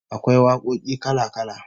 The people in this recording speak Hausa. Akwai wakoki kala-kala